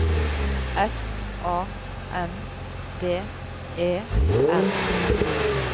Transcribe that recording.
S A N D E R